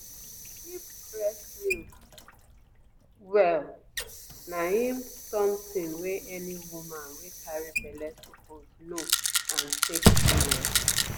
to dey keep breast milk well na ehmm something wey any woman wey carry belle suppose know and take serious.